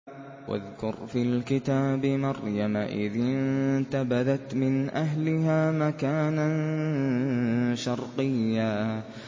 وَاذْكُرْ فِي الْكِتَابِ مَرْيَمَ إِذِ انتَبَذَتْ مِنْ أَهْلِهَا مَكَانًا شَرْقِيًّا